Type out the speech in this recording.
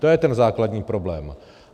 To je ten základní problém.